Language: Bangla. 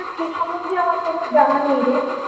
তা সেই সম্বন্ধে আমার কোনো জানা নেই রে।